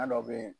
dɔ bɛ yen